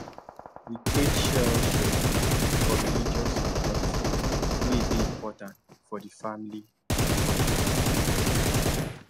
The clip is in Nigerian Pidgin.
we create shared schedule for religious events way day important for the family for the family